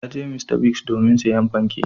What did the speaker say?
Ta je Mr. Biggs domin sayen fanke.